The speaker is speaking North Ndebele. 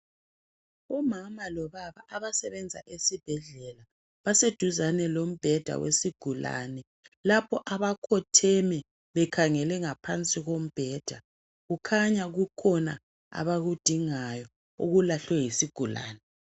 Umama lobaba abasebenza esibhedlela baseduzane lombheda wesigulane lapho bakhotheme bekhangele ngaphansi kombheda. Kukhanya kukhona abakudingayo okungabe kulahlwe yisigulane